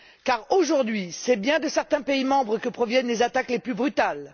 Car aujourd'hui, c'est bien de certains pays membres que proviennent les attaques les plus brutales.